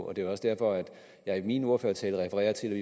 og det er også derfor at jeg i min ordførertale refererede til at